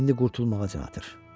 İndi qurtulmağa çalışır.